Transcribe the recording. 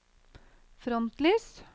frontlys